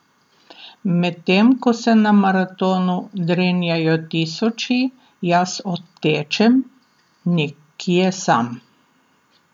Medtem ko se na maratonu drenjajo tisoči, jaz odtečem nekje sam.